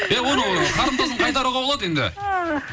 иә оның қарымтасын қайтаруға болады енді